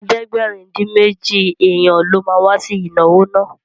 Ẹgbẹ̀rin-dín-méjì èèyàn ló ma wá sí ìnáwó náà